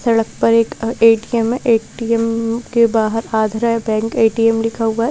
सड़क पर एक ए_टी_एम है ए_टी_एम के बाहर आंध्रा बैंक ए_टी_एम लिखा हुआ है।